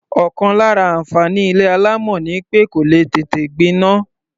Ọ̀kan lára àǹfààní ilé alámọ̀ ni pé kò lè tètè gbiná.